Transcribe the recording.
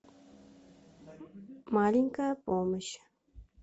маленькая помощь